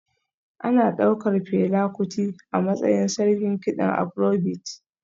Ana ɗaukar Fela Kuti a matsayin sarkin kiɗan Afrobeat